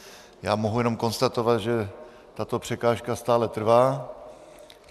Já mohu jenom konstatovat, že tato překážka stále trvá.